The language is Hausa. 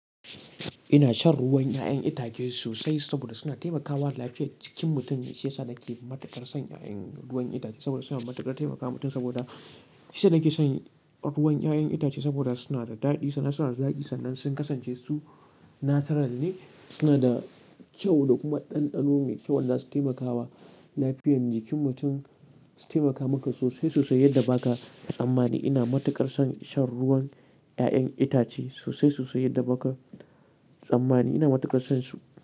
Ina shan ruwan 'ya'yan itace sosai saboda suna taimakawa lafiya jikin mutum. Shiyasa nake matuƙar son ruwan 'ya'yan itace saboda suna matuƙar taimakawa mutum saboda shiyasa nake son ruwan 'ya'yan itace saboda suna da daɗi, sannan suna da zaƙi sannan sun kasance su natural ne, suna da kyau da kuma ɗanɗano mai kyau wanda za su taimakawa lafiyan jikin mutum, su taimaka maka sosai sosai yadda ba ka tsammani. Ina matuƙar son shan ruwan 'ya'yan itace sosai sosai yadda ba ka tsammani. Ina matuƙar son su.